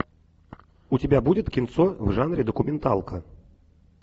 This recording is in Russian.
у тебя будет кинцо в жанре документалка